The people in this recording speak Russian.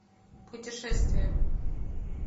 путешествия